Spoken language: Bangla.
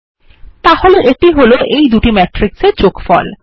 তাহলে এটি হল এই দুটি ম্যাট্রিক্স এর যোগফল